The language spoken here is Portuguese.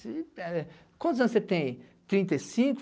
Quantos anos você tem? Trinta e cinco